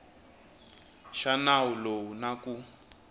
xa nawu lowu na ku